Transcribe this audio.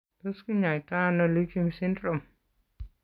Tos kinyai to ano Igm syndrome ?